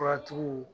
Furatigiw